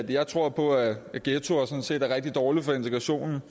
jeg tror på at ghettoer sådan set er rigtig dårlige for integrationen